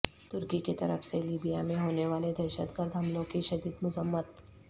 تر کی کیطرف سے لیبیا میں ہونے والے دہشت گرد حملوں کی شدید مذمت